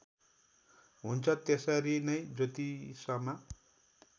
हुन्छ त्यसरी नै ज्योतिषमा